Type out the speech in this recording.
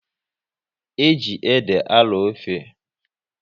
E ji ede a arọ ofe